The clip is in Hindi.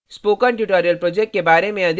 spoken tutorial project के बारे में अधिक जानने के लिए